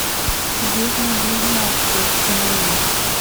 ведьмы близняшки установи